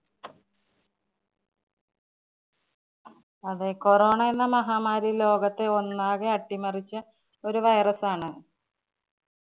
അതെ corona എന്ന മഹാമാരി ലോകത്തെ ഒന്നാകെ അട്ടിമറിച്ച ഒരു virus ആണ്.